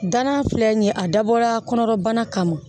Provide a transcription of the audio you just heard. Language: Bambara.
Danna filɛ nin ye a dabɔra kɔnɔbana kama